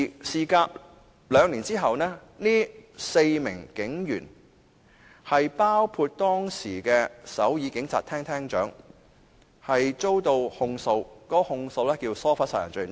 事隔兩年，涉事的4名警員，包括當時的首爾警察廳廳長，均遭起訴，被控以疏忽殺人罪。